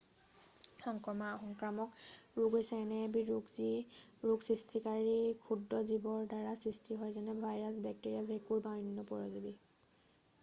সংক্ৰামক ৰোগ হৈছে এনে এবিধ ৰোগ যি ৰোগ সৃষ্টিকাৰী ক্ষুদ্ৰ জীৱৰ দ্বাৰা সৃষ্টি হয় যেনে ভাইৰাছ বেক্টেৰিয়া ভেঁকুৰ বা অন্য পৰজীৱী